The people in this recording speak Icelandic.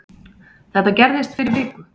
Þetta gerðist fyrir viku